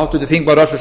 háttvirtur þingmaður össur